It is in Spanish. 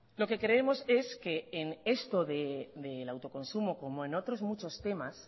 lo que creemos es que en esto del autoconsumo como en otros muchos temas